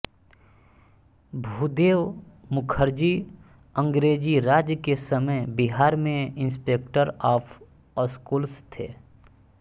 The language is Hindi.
भूदेव मुखर्जी अंग्रेजीराज के समय बिहार में इंस्पेक्टर ऑफ स्कूल्स थे